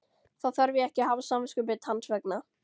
Þá þarf ég ekki að hafa samviskubit hans vegna?